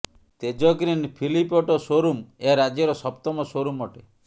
ତେଜଗ୍ରୀନ୍ ଫିଲ୍ପ auto show room ଏହା ରାଜ୍ୟର ସପ୍ତମ ସୋରୁମ୍ ଅଟେ